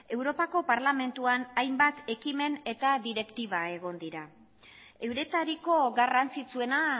europako parlamentuan hainbat ekimen eta direktiba egon dira euretariko garrantzitsuena